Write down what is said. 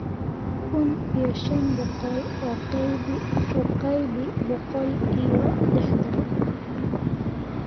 kun iyo shan boqol u qaybi boqol iyo lixdan